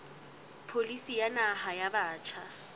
pholisi ya naha ya batjha